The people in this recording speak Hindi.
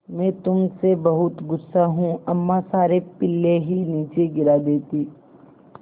मैं तुम से बहुत गु़स्सा हूँ अम्मा सारे पिल्ले ही नीचे गिरा देतीं